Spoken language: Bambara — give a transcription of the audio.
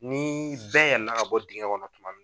Ni bɛɛ yɛlɛ na bɔ dingɛ kɔnɔ tuma